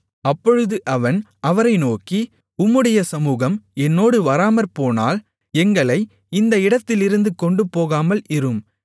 அப்பொழுது அவன் அவரை நோக்கி உம்முடைய சமுகம் என்னோடு வராமற்போனால் எங்களை இந்த இடத்திலிருந்து கொண்டுபோகாமல் இரும்